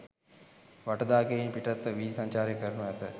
වටදාගයෙන් පිටත්ව වීදි සංචාරය කරනු ඇත.